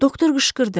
Doktor qışqırdı.